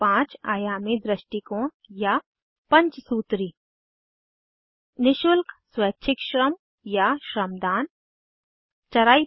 पांच आयामी दृष्टिकोण या पंचसूत्री 1नि शुल्क स्वैच्छिक श्रम या श्रमदान 2